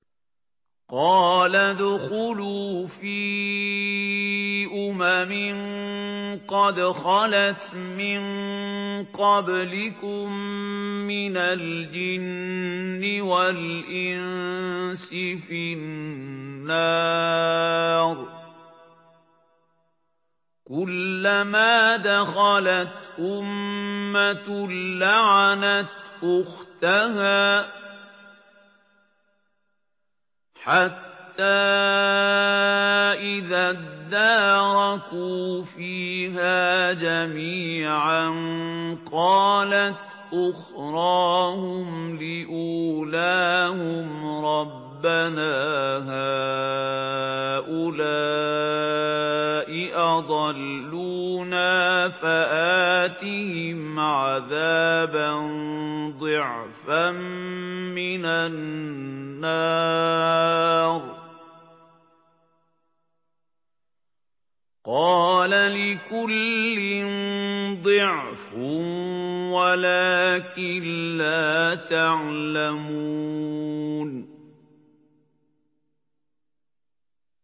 قَالَ ادْخُلُوا فِي أُمَمٍ قَدْ خَلَتْ مِن قَبْلِكُم مِّنَ الْجِنِّ وَالْإِنسِ فِي النَّارِ ۖ كُلَّمَا دَخَلَتْ أُمَّةٌ لَّعَنَتْ أُخْتَهَا ۖ حَتَّىٰ إِذَا ادَّارَكُوا فِيهَا جَمِيعًا قَالَتْ أُخْرَاهُمْ لِأُولَاهُمْ رَبَّنَا هَٰؤُلَاءِ أَضَلُّونَا فَآتِهِمْ عَذَابًا ضِعْفًا مِّنَ النَّارِ ۖ قَالَ لِكُلٍّ ضِعْفٌ وَلَٰكِن لَّا تَعْلَمُونَ